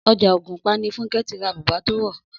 Ọjà Ògùnpa ni Fúnkẹ́ ti ra bùbá tó wọ̀